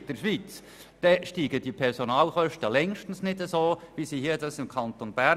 In anderen Kantonen steigen die Personalkosten nämlich lange nicht so wie bei uns im Kanton Bern.